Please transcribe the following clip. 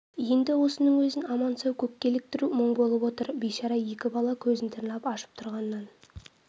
енді осының өзін аман-сау көкке іліктіру мұң болып отыр бейшара екі бала көзін тырнап ашып тұрғаннан